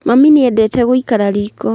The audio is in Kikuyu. Mami nĩendete gũikara riko